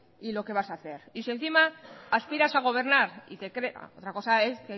y lo que vas a hacer y si encima aspiras a gobernar otra cosa es